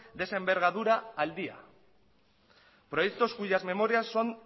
de esa envergadura al día proyecto cuyas memorias son